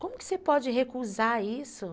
Como que você pode recusar isso?